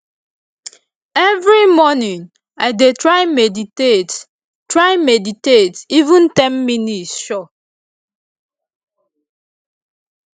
every morning i dey try meditate try meditate even ten minutes sure